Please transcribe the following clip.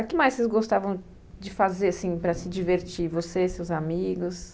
O que mais vocês gostavam de fazer para se divertir, você e seus amigos?